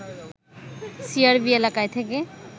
CRB এলাকায় থেকে